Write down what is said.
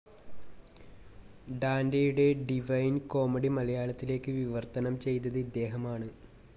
ഡാൻ്റെയുടെ Divine Comedy മലയാളത്തിലേക്ക് വിവർത്തനം ചെയ്തത് ഇദ്ദേഹമാണ്.